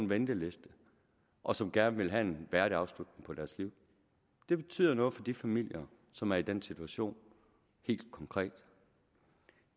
venteliste og som gerne vil have en værdig afslutning på deres liv det betyder noget for de familier som er i den situation helt konkret